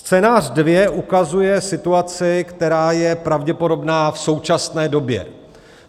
Scénář dvě ukazuje situaci, která je pravděpodobná v současné době.